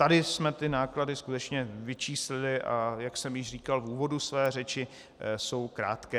Tady jsme ty náklady skutečně vyčíslili, a jak už jsem říkal v úvodu své řeči, jsou krátké.